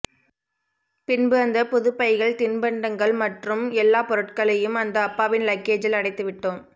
பின்பு அந்த புது பைகள் தின்பங்ங்கள் மற்றும் எல்லா பொருட்களையும் அந்த அப்பாவின் லக்கேஜில் அடைத்து விட்டோம்